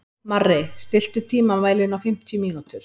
Marri, stilltu tímamælinn á fimmtíu mínútur.